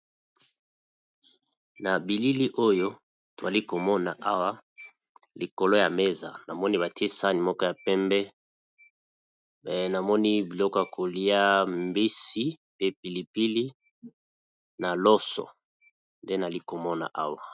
Na bilili oyo twali komona awa likolo ya meza namoni batie sani moko ya pembe namoni biloko ya kolia mbisi pe pilipili na loso nde nali komona awa.